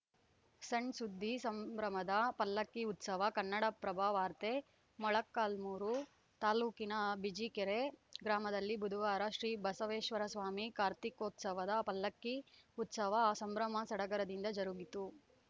ಸಣ್‌ಸುದ್ದಿ ಸಂಭ್ರಮದ ಪಲ್ಲಕ್ಕಿ ಉತ್ಸವ ಕನ್ನಡ ಪ್ರಭ ವಾರ್ತೆ ಮೊಳಕಾಲ್ಮುರು ತಾಲೂಕಿನ ಬಿಜಿಕೆರೆ ಗ್ರಾಮದಲ್ಲಿ ಬುಧವಾರ ಶ್ರೀ ಬಸವೇಶ್ವರಸ್ವಾಮಿ ಕಾರ್ತಿಕೋತ್ಸವದ ಪಲ್ಲಕ್ಕಿ ಉತ್ಸವ ಸಂಭ್ರಮ ಸಡಗರದಿಂದ ಜರುಗಿತು